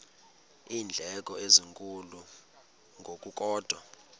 iindleko ezinkulu ngokukodwa